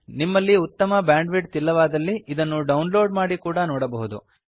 ನಿಮಲ್ಲಿ ಉತ್ತಮ ಬ್ಯಾಂಡ್ವಿಡ್ತ್ ಇಲ್ಲವಾದಲ್ಲಿ ಇದನ್ನು ಡೌನ್ ಲೋಡ್ ಮಾಡಿ ನೋಡಿ